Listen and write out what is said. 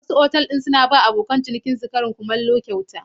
Wasu otal ɗin suna ba abokan cinikinsu karin kumallo kyauta.